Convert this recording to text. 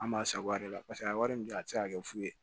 An b'a sagoya de la paseke a wari min bɛ a tɛ se ka kɛ fu ye